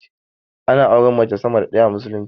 Ana auren mace sama da ɗaya a musulunci